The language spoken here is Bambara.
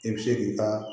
I bɛ se k'i ka